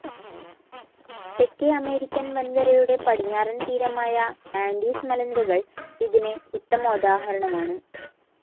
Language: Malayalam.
തെക്കേ അമേരിക്കൻ വൻകരയുടെ പടിഞ്ഞാറൻ തീരമായ ആൻഡീസ് മലനിരകൾ ഇതിനു ഉത്തമോദാഹരണമാണ്